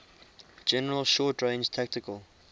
general short range tactical